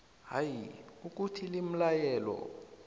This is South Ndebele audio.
hayi ukuthi limlayelo